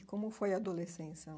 Como foi a adolescência?